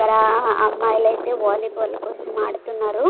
అక్కడ అమ్మాయిలైతే వాలీబాల్ కోసం ఆడుతున్నారు.